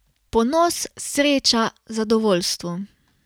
Ponos, sreča, zadovoljstvo.